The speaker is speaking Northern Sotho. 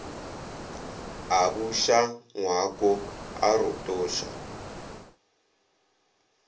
a buša ngwako a rotoša